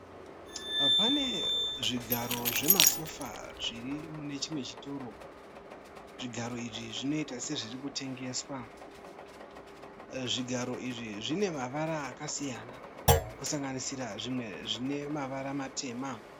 Pane zvigaro zvemasofa zviri mune chimwe chitoro. Zvigaro izvi zvinoita sezviri kutengeswa. Zvigaro izvi zvine mavara akasiyana kusanganisira zvimwe zvine mavara matema.